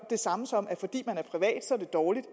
det samme som at det er dårligt